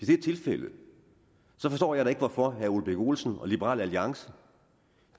det er tilfældet forstår jeg da ikke hvorfor herre ole birk olesen og liberal alliance